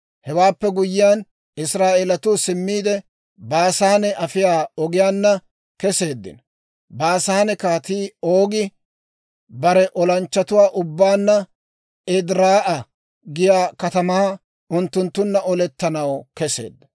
Hewaappe guyyiyaan, Israa'eelatuu simmiide, Baasaane afiyaa ogiyaanna keseeddino. Baasaane Kaatii Oogi bare olanchchatuwaa ubbaanna Ediraa'a giyaa katamaa unttunttunna olettanaw keseedda.